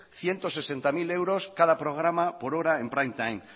ciento sesenta mil euros cada programa por hora en prime time